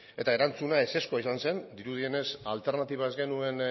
eta erantzuna ezezkoa izan zen dirudienez alternatiba ez genuen